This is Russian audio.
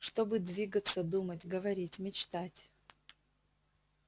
чтобы двигаться думать говорить мечтать